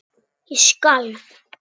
Ég skalf.